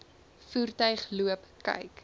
voertuig loop kyk